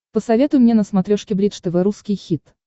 посоветуй мне на смотрешке бридж тв русский хит